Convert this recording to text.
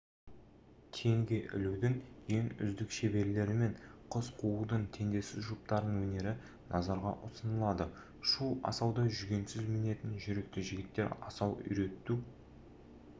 теңге ілудің ең үздік шеберлері мен қыз қуудың теңдессіз жұптарының өнері назарға ұсынылады шу асауды жүгенсіз мінетін жүректі жігіттер асау үйрету